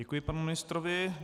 Děkuji panu ministrovi.